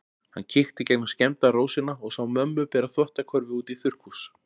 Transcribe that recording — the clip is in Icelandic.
Hann kíkti í gegnum skemmda rósina og sá mömmu bera þvottakörfu út í þurrkhús.